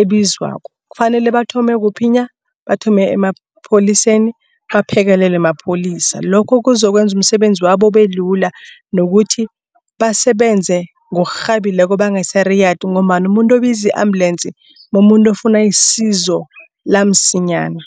ebizwako kufanele bathome kuphi na? Bathome emapholiseni baphekelelwe mapholisa lokho kuzokwenza umsebenzi wabo ubelula. Nokuthi basebenze ngokurhabileko bangasariyadi ngombana umuntu obiza i-ambulance mumuntu ofuna isizo lamsinyana.